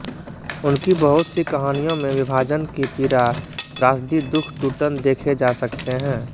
उनकी बहुत सी कहानियों में विभाजन की पीड़ा त्रासदी दुख टूटन देखे जा सकते हैं